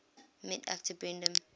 met actor brendan